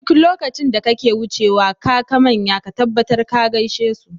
Duk lokacin da kake wucewa kaka manya ka tabbatar ka gaishe su.